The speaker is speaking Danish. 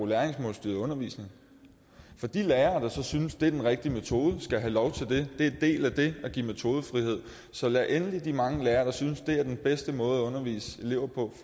læringsmålstyret undervisning for de lærere der så synes det er den rigtige metode skal have lov til det det er del af det at give metodefrihed så lad endelig de mange lærere der synes det er den bedste måde at undervise elever på